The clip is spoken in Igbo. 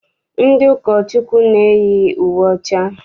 Ndị ụkọchukwu na-eyi uwe ọcha.